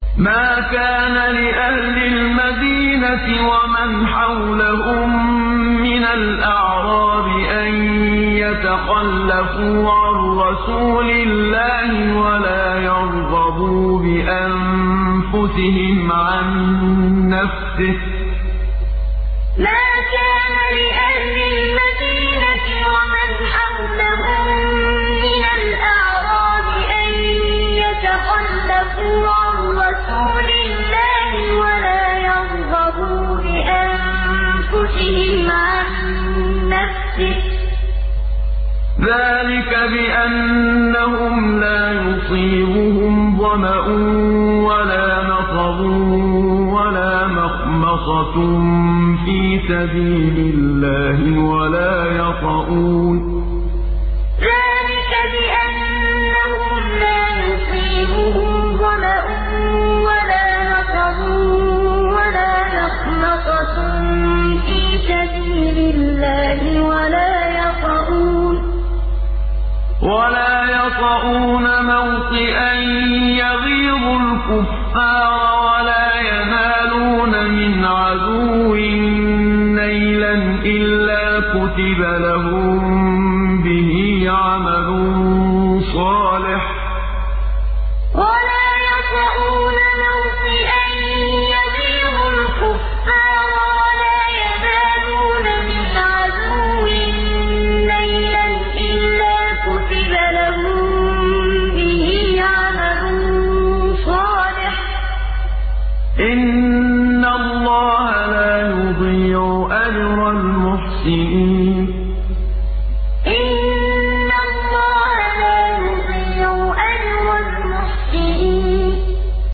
مَا كَانَ لِأَهْلِ الْمَدِينَةِ وَمَنْ حَوْلَهُم مِّنَ الْأَعْرَابِ أَن يَتَخَلَّفُوا عَن رَّسُولِ اللَّهِ وَلَا يَرْغَبُوا بِأَنفُسِهِمْ عَن نَّفْسِهِ ۚ ذَٰلِكَ بِأَنَّهُمْ لَا يُصِيبُهُمْ ظَمَأٌ وَلَا نَصَبٌ وَلَا مَخْمَصَةٌ فِي سَبِيلِ اللَّهِ وَلَا يَطَئُونَ مَوْطِئًا يَغِيظُ الْكُفَّارَ وَلَا يَنَالُونَ مِنْ عَدُوٍّ نَّيْلًا إِلَّا كُتِبَ لَهُم بِهِ عَمَلٌ صَالِحٌ ۚ إِنَّ اللَّهَ لَا يُضِيعُ أَجْرَ الْمُحْسِنِينَ مَا كَانَ لِأَهْلِ الْمَدِينَةِ وَمَنْ حَوْلَهُم مِّنَ الْأَعْرَابِ أَن يَتَخَلَّفُوا عَن رَّسُولِ اللَّهِ وَلَا يَرْغَبُوا بِأَنفُسِهِمْ عَن نَّفْسِهِ ۚ ذَٰلِكَ بِأَنَّهُمْ لَا يُصِيبُهُمْ ظَمَأٌ وَلَا نَصَبٌ وَلَا مَخْمَصَةٌ فِي سَبِيلِ اللَّهِ وَلَا يَطَئُونَ مَوْطِئًا يَغِيظُ الْكُفَّارَ وَلَا يَنَالُونَ مِنْ عَدُوٍّ نَّيْلًا إِلَّا كُتِبَ لَهُم بِهِ عَمَلٌ صَالِحٌ ۚ إِنَّ اللَّهَ لَا يُضِيعُ أَجْرَ الْمُحْسِنِينَ